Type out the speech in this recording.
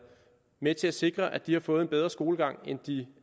med til at sikre at de har fået en bedre skolegang end de